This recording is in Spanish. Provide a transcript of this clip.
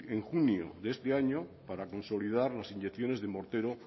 en junio de este año para consolidar las inyecciones de mortero